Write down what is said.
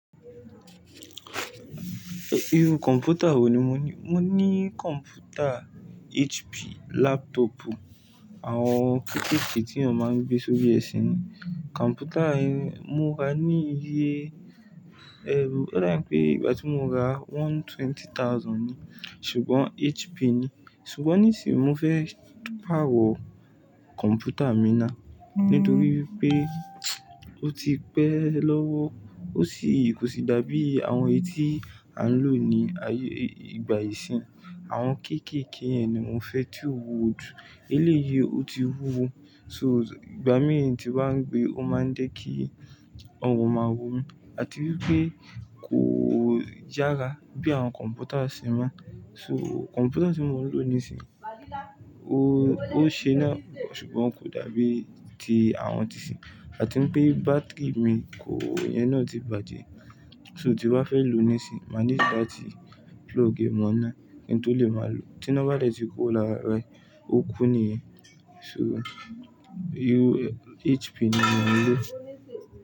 Iru kọ̀mpútà wo ni mo ní? Mo ní kọ̀mpútà HP laptop, àwọn kéékèèké tí a máa ń gbé sórí ẹṣin. Kọ̀mpútà yẹn mo ra ní iye ẹrú, oda bi pé ìgbà tí mo ra one twenty thousand ni, ṣùgbọ́n HP ni. Ṣùgbọ́n nísìí, mo fẹ́ pàrọ́ kọ̀mpútà mi náà nítorí pé ó ti pẹ́ lọ́wọ́ ó sì kò sì dàbí àwọn ẹti a ń lò ní ayé ìgbà ìsín. Àwọn kéékèèké yẹn ni mo fẹ́ tó wuwo jù. Eléyìí, ó ti wúwo, so ìgbà mìí tí baa ń gbé, ó máa ń jé ki ọrùn máa rò ó, àti wípé kò yára bí àwọn kọ̀mpútà isì mo. So kọ̀mpútà tí mo ń lò nísìí, ó, ó ṣe náà ṣùgbọ́n kò dàbí ti àwọn ti sì. Àti wípé bátìrì mi kò yẹn náà ti bàjẹ́. So tí wọ́n bá fẹ́ lòó nísìí, máa ní láti plug ẹ mọ óná kí n tó lè máa lò ó. Tí iná bá dẹ́ ti ko lára rẹ̀, ó kú ni, ṣùgbọ́n HP ni mo ń lò.